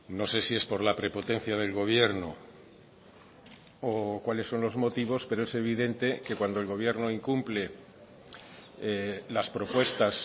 no sé si es por la prepotencia del gobierno o cuáles son los motivos pero es evidente que cuando el gobierno incumple las propuestas